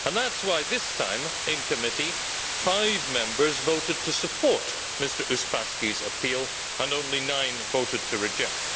That is why this time in committee five Members voted to support Mr Uspaskich's appeal and only nine voted to reject.